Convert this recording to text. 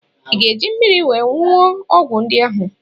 Ị ga-eji mmiri wee nwụọ ọgwụ ndị ahụ?